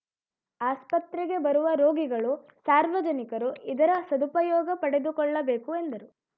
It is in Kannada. ಆಸ್ಪತ್ರೆಗೆ ಬರುವ ರೋಗಿಗಳು ಸಾರ್ವಜನಿಕರು ಇದರ ಸದುಪಯೋಗ ಪಡೆದುಕೊಳ್ಳಬೇಕು ಎಂದರು